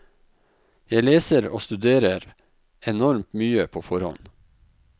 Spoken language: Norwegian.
Jeg leser og studerer enormt mye på forhånd.